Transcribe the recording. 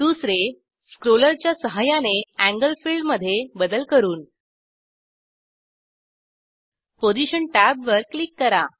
दुसरे स्क्रोलरच्या सहाय्याने एंगल फिल्ड मधे बदल करून पोझिशन टॅबवर क्लिक करा